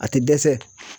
A tɛ dɛsɛ